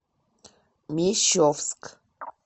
мещовск